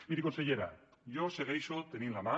miri consellera jo segueixo tendint la mà